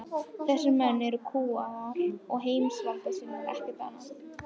Þessir menn eru kúgarar og heimsvaldasinnar, ekkert annað.